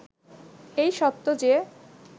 এই সত্য যে